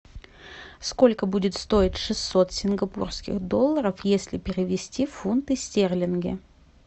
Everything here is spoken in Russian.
сколько будет стоить шестьсот сингапурских долларов если перевести в фунты стерлинги